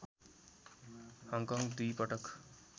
Hong Kong दुई पटक